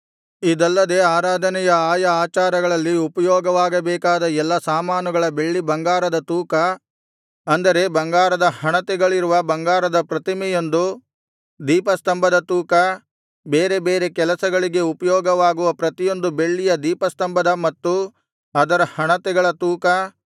ಇದಲ್ಲದೆ ಆರಾಧನೆಯ ಆಯಾ ಆಚಾರಗಳಲ್ಲಿ ಉಪಯೋಗವಾಗಬೇಕಾದ ಎಲ್ಲಾ ಸಾಮಾನುಗಳ ಬೆಳ್ಳಿ ಬಂಗಾರದ ತೂಕ ಅಂದರೆ ಬಂಗಾರದ ಹಣತೆಗಳಿರುವ ಬಂಗಾರದ ಪ್ರತಿಯೊಂದು ದೀಪಸ್ತಂಭದ ತೂಕ ಬೇರೆ ಬೇರೆ ಕೆಲಸಗಳಿಗೆ ಉಪಯೋಗವಾಗುವ ಪ್ರತಿಯೊಂದು ಬೆಳ್ಳಿಯ ದೀಪಸ್ತಂಭದ ಮತ್ತು ಅದರ ಹಣತೆಗಳ ತೂಕ